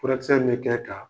Furakisɛ bɛ kɛ k'a